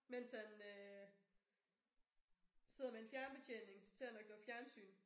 Mens han øh sidder med en fjernbetjening. Ser nok noget fjernsyn